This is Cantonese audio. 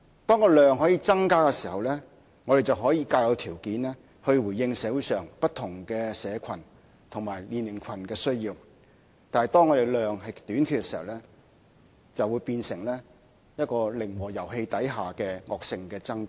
當建屋數量可以增加的時候，我們便可以較有條件回應社會上不同社群及年齡群的需要；但當建屋數量仍屬短缺，便會變成一個零和遊戲之下的惡性爭奪。